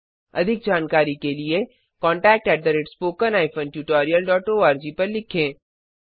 अधिक जानकारी के लिए contactspoken tutorialorg पर लिखें